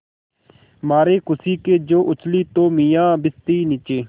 मारे खुशी के जो उछली तो मियाँ भिश्ती नीचे